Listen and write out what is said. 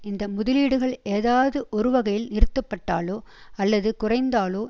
இந்த முதலீடுகள் ஏதாவது ஒருவகையில் நிறுத்தப்பட்டாலோ அல்லது குறைந்தாலோ